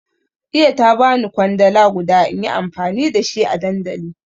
Iya ta bani kwandala guda inyi amfani da shi a dandali